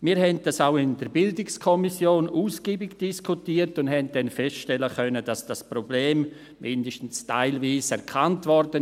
Wir haben dies auch in der BiK ausgiebig diskutiert und konnten dann feststellen, dass das Problem zumindest teilweise erkannt wurde.